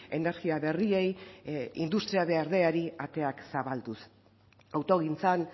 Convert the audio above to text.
energia berriei industria berdeari ateak zabalduz autogintzan